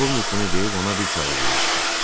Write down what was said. Polkovnik bunu deyib ona bir kağız uzatdı.